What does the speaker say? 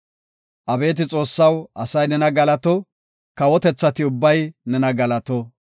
Abeeti Xoossaw, asay nena galato; kawotethati ubbay nena galato.